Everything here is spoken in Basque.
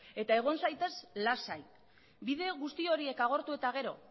eta egon zaitez lasai bide guzti horiek agortu eta gero